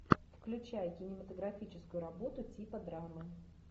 включай кинематографическую работу типа драмы